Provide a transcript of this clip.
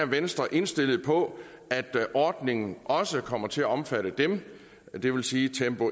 venstre er indstillet på at ordningen også kommer til at omfatte dem det vil sige tempo